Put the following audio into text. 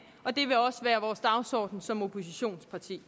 og dagsorden som oppositionsparti